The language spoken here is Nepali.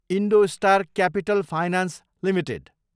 IndoStar Capital Finance Ltd